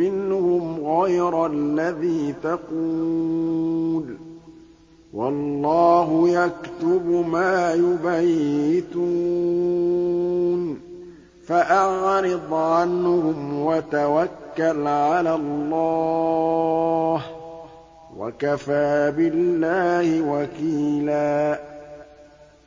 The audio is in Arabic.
مِّنْهُمْ غَيْرَ الَّذِي تَقُولُ ۖ وَاللَّهُ يَكْتُبُ مَا يُبَيِّتُونَ ۖ فَأَعْرِضْ عَنْهُمْ وَتَوَكَّلْ عَلَى اللَّهِ ۚ وَكَفَىٰ بِاللَّهِ وَكِيلًا